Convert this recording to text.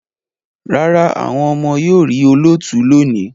Rárá, àwọn ọmọ yóò rí olóòtú lónìí